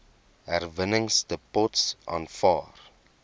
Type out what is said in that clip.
herwinningsdepots aanvaar